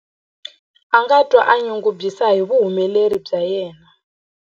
A nga twa a tinyungubyisa hi vuhumeleri bya yena.